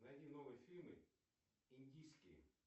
найди новые фильмы индийские